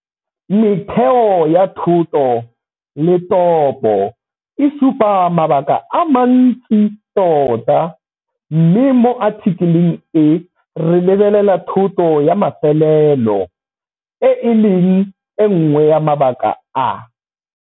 Metheo ya thoto le topo e supa mabaka a mantsi tota, mme mo athikeleng e re lebelela thoto ya mafelelo, e e leng e nngwe ya mabaka a.